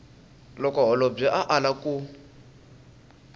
loko holobye a ala ku